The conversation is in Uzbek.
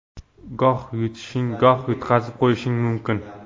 Goh yutishing, goh yutqazib qo‘yishing mumkin.